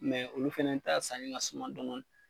Mɛ olu fɛnɛ taa sanni ka suman dɔn dɔɔni